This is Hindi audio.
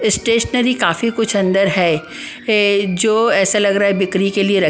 स्टेशनरी काफी कुछ अंदर है जो ऐसा लग रहा है बिक्री के लिए र --